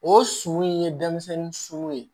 O sun in ye denmisɛnnin surun ye